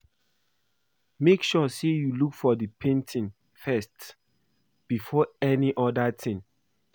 Make sure you look for the painting first before any other thing